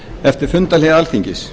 eftir fundarhlé alþingis